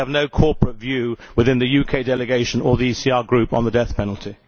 We have no corporate view within the UK Delegation or the ECR Group on the death penalty.